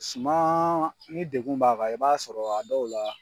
Suma ni degun b'a kan, i b'a sɔrɔ a dɔw la.